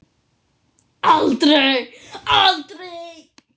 Aldrei, aldrei.